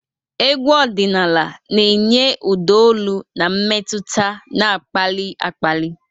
Egwu ọdịnala na-enye ụda olu na mmetụta na-akpali akpali.